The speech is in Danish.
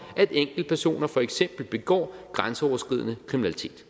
at enkeltpersoner for eksempel begår grænseoverskridende kriminalitet